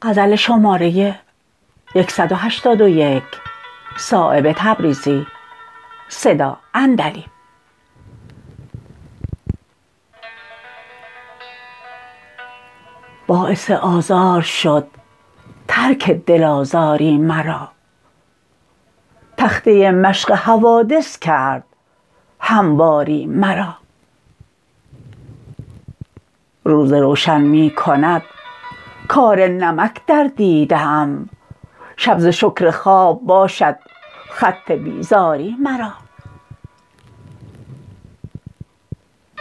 باعث آزار شد ترک دل آزاری مرا تخته مشق حوادث کرد همواری مرا روز روشن می کند کار نمک در دیده ام شب ز شکر خواب باشد خط بیزاری مرا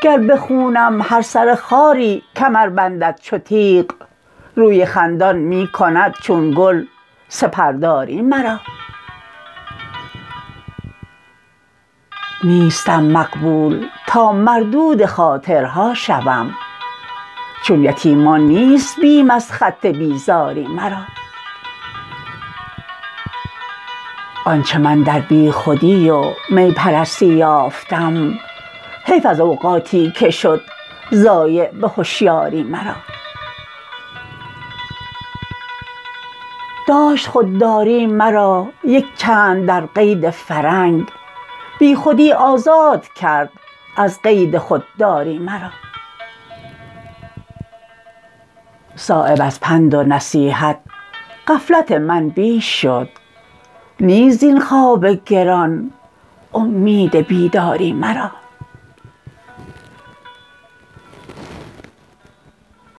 گر به خونم هر سر خاری کمر بندد چو تیغ روی خندان می کند چون گل سپر داری مرا نیستم مقبول تا مردود خاطرها شوم چون یتیمان نیست بیم از خط بیزاری مرا آنچه من در بیخودی و می پرستی یافتم حیف از اوقاتی که شد ضایع به هشیاری مرا داشت خودداری مرا یک چند در قید فرنگ بی خودی آزاد کرد از قید خودداری مرا صایب از پند و نصیحت غفلت من بیش شد نیست زین خواب گران امید بیداری مرا